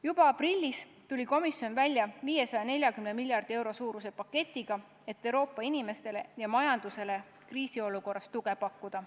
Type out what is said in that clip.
Juba aprillis tuli komisjon välja 540 miljardi euro suuruse paketiga, et Euroopa inimestele ja majandusele kriisiolukorras tuge pakkuda.